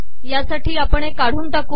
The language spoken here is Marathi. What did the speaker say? या साठी आपण हे काढून टाकू